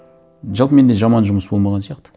жалпы менде жаман жұмыс болмаған сияқты